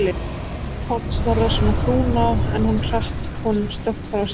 Þá hljóp Páll Snorrason á frúna, en hún hratt honum snöggt frá sér.